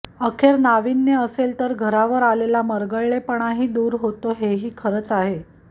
अखेर नावीन्य असेल तर घरावर आलेला मरगळलेपणाही दूर होतो हे ही खरंच आहे